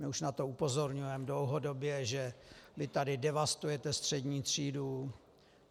My už na to upozorňujeme dlouhodobě, že vy tady devastujete střední třídu.